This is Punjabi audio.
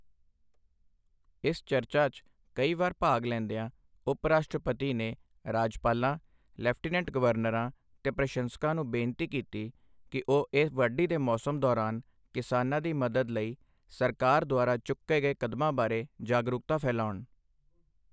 ਇਸ ਚਰਚਾ 'ਚ ਕਈ ਵਾਰ ਭਾਗ ਲੈਂਦਿਆਂ, ਉਪ ਰਾਸ਼ਟਰਪਤੀ ਨੇ ਰਾਜਪਾਲਾਂ ਲੈਫ਼ਟੀਨੈਂਟ ਗਵਰਨਰਾਂ ਤੇ ਪ੍ਰਸ਼ੰਸ਼ਕ ਨੂੰ ਬੇਨਤੀ ਕੀਤੀ ਕਿ ਉਹ ਇਸ ਵਾਢੀ ਦੇ ਮੌਸਮ ਦੌਰਾਨ ਕਿਸਾਨਾਂ ਦੀ ਮਦਦ ਲਈ ਸਰਕਾਰ ਦੁਆਰਾ ਚੁੱਕੇ ਗਏ ਕਦਮਾਂ ਬਾਰੇ ਜਾਗਰੂਕਤਾ ਫੈਲਾਉਣ।